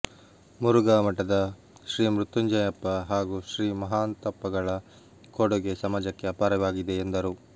ಮುರುಘಾಮಠದ ಶ್ರೀ ಮೃತ್ಯುಂಜಯಪ್ಪ ಹಾಗೂ ಶ್ರೀ ಮಹಾಂತಪ್ಪಗಳ ಕೊಡುಗೆ ಸಮಾಜಕ್ಕೆ ಅಪಾರವಾಗಿದೆ ಎಂದರು